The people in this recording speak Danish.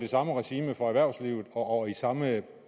samme regime for erhvervslivet og i samme